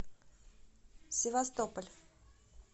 севастополь